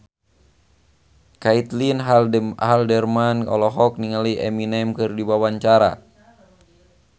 Caitlin Halderman olohok ningali Eminem keur diwawancara